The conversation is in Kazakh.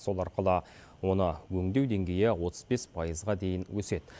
сол арқылы оны өңдеу деңгейі отыз бес пайызға дейін өседі